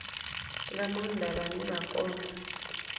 nga maanda vhane zwa konda